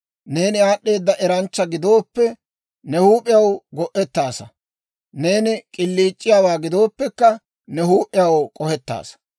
Neeni aad'd'eeda eranchcha gidooppe, ne huup'iyaw go'ettaasa. Neeni k'iliic'iyaawaa gidooppekka, ne huup'iyaw k'ohettaasa.